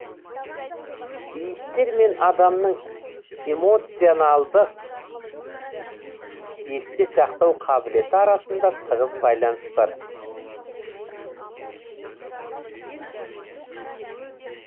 иістер мен адамның эмоционалдық есте сақтау қабілеті арасында тығыз байланыс бар